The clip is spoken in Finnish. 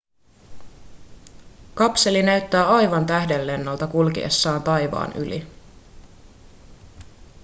kapseli näyttää aivan tähdenlennolta kulkiessaan taivaan yli